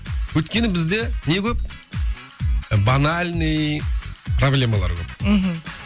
өйткені бізде не көп ы банальный проблемалар көп мхм